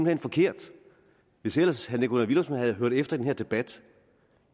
hen forkert hvis ellers herre nikolaj villumsen havde hørt efter i den her debat